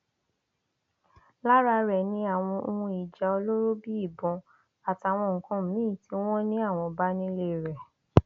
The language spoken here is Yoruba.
lára rẹ ni àwọn ohun ìjà olóró bíi ìbọn àtàwọn nǹkan míín tí wọn ní àwọn bá nílé rẹ